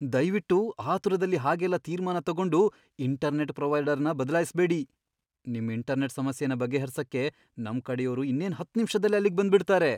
ದಯ್ವಿಟ್ಟು ಆತುರದಲ್ಲಿ ಹಾಗೆಲ್ಲ ತೀರ್ಮಾನ ತಗೊಂಡು ಇಂಟರ್ನೆಟ್ ಪ್ರೊವೈಡರ್ನ ಬದ್ಲಾಯಿಸ್ಬೇಡಿ, ನಿಮ್ ಇಂಟರ್ನೆಟ್ ಸಮಸ್ಯೆನ ಬಗೆಹರ್ಸಕ್ಕೆ ನಮ್ಕಡೆಯೋರು ಇನ್ನೇನ್ ಹತ್ತ್ ನಿಮ್ಷದಲ್ಲೇ ಅಲ್ಲಿಗ್ ಬಂದ್ಬಿಡ್ತಾರೆ.